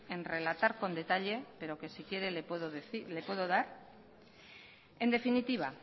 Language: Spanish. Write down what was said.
en relatar con detalla pero que si quiere le puedo dar en definitiva